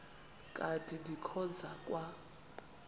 kanti ndikhonza kwa